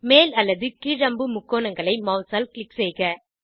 மேல் அல்லது கீழ் அம்பு முக்கோணங்களை மாஸ் ஆல் க்ளிக் செய்க